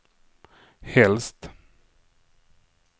helst